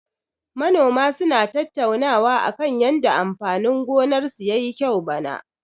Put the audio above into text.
Manoma suna tattaunawa akan yanda amfanin gonarsu ya yi kyau bana.